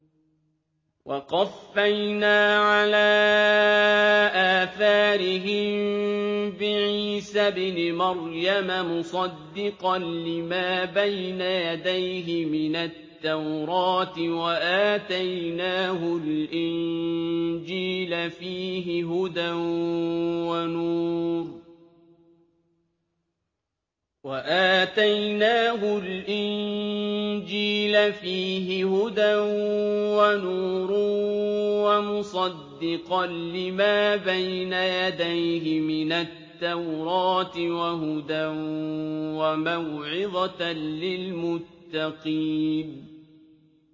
وَقَفَّيْنَا عَلَىٰ آثَارِهِم بِعِيسَى ابْنِ مَرْيَمَ مُصَدِّقًا لِّمَا بَيْنَ يَدَيْهِ مِنَ التَّوْرَاةِ ۖ وَآتَيْنَاهُ الْإِنجِيلَ فِيهِ هُدًى وَنُورٌ وَمُصَدِّقًا لِّمَا بَيْنَ يَدَيْهِ مِنَ التَّوْرَاةِ وَهُدًى وَمَوْعِظَةً لِّلْمُتَّقِينَ